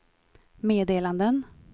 meddelanden